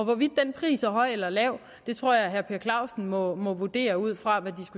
hvorvidt den pris er høj eller lav tror jeg at herre clausen må må vurdere ud fra det